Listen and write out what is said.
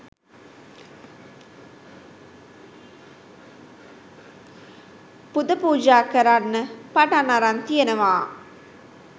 පුද පූජා කරන්න පටන් අරන් තියනවා.